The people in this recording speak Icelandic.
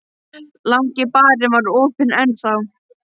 Langi barinn var opinn enn þá.